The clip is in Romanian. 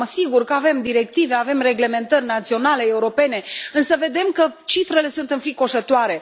Acum, sigur că avem directive, avem reglementări naționale, europene, însă vedem că cifrele sunt înfricoșătoare.